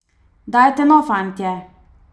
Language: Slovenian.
Dajte no, fantje!